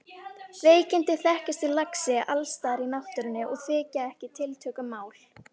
Veikindi þekkjast í laxi alls staðar í náttúrunni og þykja ekki tiltökumál.